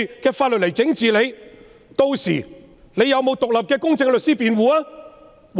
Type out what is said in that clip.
屆時疑犯是否有獨立公正的律師辯護？